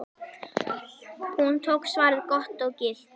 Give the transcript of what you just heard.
Hún tók svarið gott og gilt.